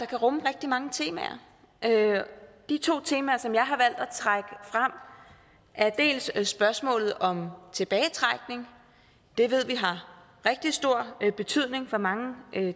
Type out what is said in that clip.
kan rumme rigtig mange temaer de to temaer som jeg har valgt at trække frem er dels spørgsmålet om tilbagetrækning det ved vi har rigtig stor betydning for mange